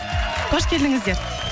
қош келдіңіздер